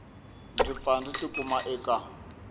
ndzi pfa ndzi tikuma eka